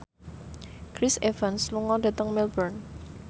Chris Evans lunga dhateng Melbourne